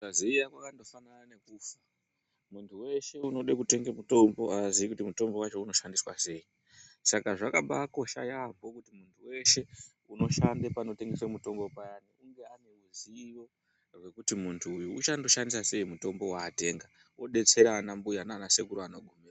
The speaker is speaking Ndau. Kusaziya kwakangofanana nokufa muntu weshe unode kutenge mutombo aaziyi kuti mutombo wacho unoshandiswa sei saka zvakabaa kosha yaampo kuti muntu weshe unoshande panotengeswe mutombo payani unge ane ruzivo rwekuti muntu uyu uchandoshandisa sei mutombo waatenga odetsere ana mbuya nana sekuru anogone.